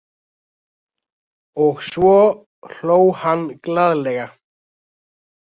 Og svo hló hann glaðlega.